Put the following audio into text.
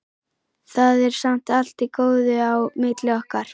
Það er samt allt í góðu á milli okkar.